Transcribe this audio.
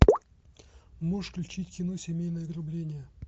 можешь включить кино семейное ограбление